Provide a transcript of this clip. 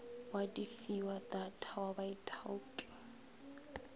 wa difiwa data wa baithaupi